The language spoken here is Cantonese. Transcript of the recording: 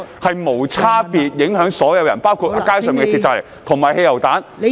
會無差別地影響所有人，包括在街上投擲鐵蒺藜和汽油彈。